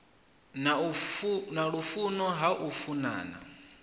na lufuno ha u funana